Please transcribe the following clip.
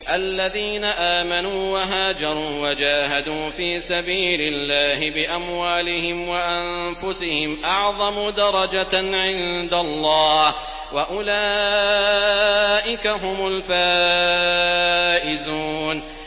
الَّذِينَ آمَنُوا وَهَاجَرُوا وَجَاهَدُوا فِي سَبِيلِ اللَّهِ بِأَمْوَالِهِمْ وَأَنفُسِهِمْ أَعْظَمُ دَرَجَةً عِندَ اللَّهِ ۚ وَأُولَٰئِكَ هُمُ الْفَائِزُونَ